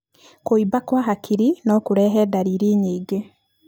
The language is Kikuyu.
Kuumba kwa hakiri no kũrehe ndariri nyingĩ.